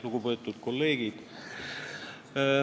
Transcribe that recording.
Lugupeetud kolleegid!